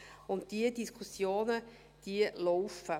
Und diese Diskussionen laufen.